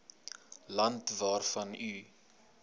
land waarvan u